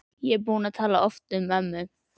Ég er búin að tala oft um ömmu.